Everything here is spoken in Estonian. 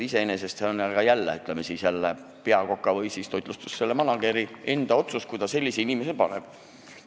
See on aga jälle, ütleme, peakoka või siis toitlustusmanager'i enda otsus, kui ta sellise inimese sinna tööle paneb.